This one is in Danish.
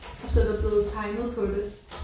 Og så er der blevet tegnet på det